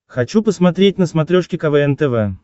хочу посмотреть на смотрешке квн тв